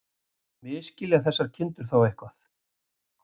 Misskilja þessar kindur eitthvað?